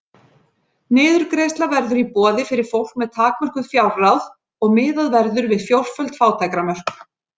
Niðurgreiðsla verður í boði fyrir fólk með takmörkuð fjárráð og miðað verður við fjórföld fátæktarmörk.